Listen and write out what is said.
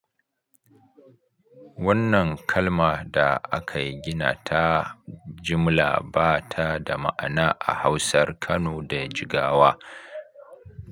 Wannan kalma da aka gina ta jimla ba ta da ma'ana a Hausar Kano da Jigawa.